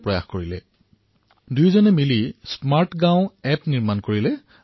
নিজৰ পেছাদাৰী দক্ষতা ব্যৱহাৰ কৰি যোগেশজী আৰু ৰাজনীশজীয়ে লগ হৈ এক স্মাৰ্ট গাঁও এপ প্ৰস্তুত কৰিলে